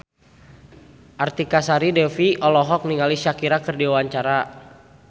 Artika Sari Devi olohok ningali Shakira keur diwawancara